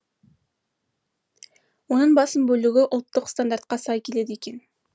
оның басым бөлігі ұлттық стандартқа сай келеді екен